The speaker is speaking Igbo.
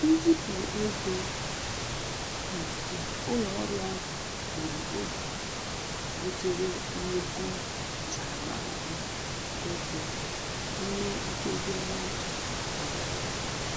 Nzipụ ego nke ụlọ ọrụ ahụ gburu oge butere nnukwu ntaramahụhụ ego n'ime nkeji ọnwa atọ gara aga.